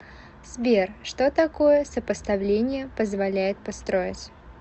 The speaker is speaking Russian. сбер что такое сопоставление позволяет построить